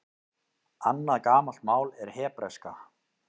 Annað gamalt mál er hebreska.